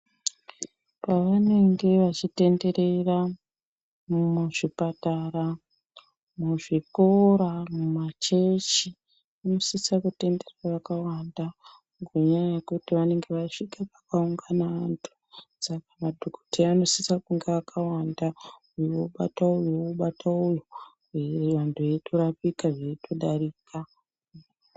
Pavanenge vachitenderera muzvipatara, muzvikora, mumachechi, vanosisa kutenderera vakawanda, ngenyaya yekuti vanenge vasvika pakaungana vantu, saka madhokodheya anosisa kunge akawanda, uyu obata uyu, uyu obata uyu ,vantu veyitorapika ,vantu veyitodarika.